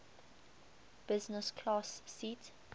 business class seat